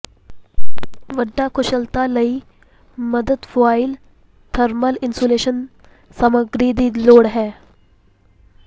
ਵੱਡਾ ਕੁਸ਼ਲਤਾ ਲਈ ਮਦਦ ਫੁਆਇਲ ਥਰਮਲ ਇਨਸੂਲੇਸ਼ਨ ਸਮੱਗਰੀ ਦੀ ਲੋੜ ਹੈ